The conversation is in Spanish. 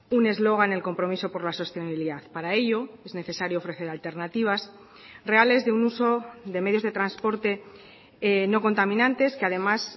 un eslogan el compromiso por la sostenibilidad para ello es necesario ofrecer alternativas reales de un uso de medios de transporte no contaminantes que además